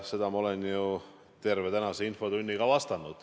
Seda ma olen ju terve tänase infotunni ka vastanud.